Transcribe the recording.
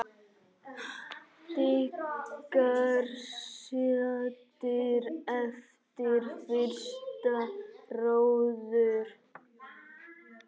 Blikar saddir eftir fyrsta róður?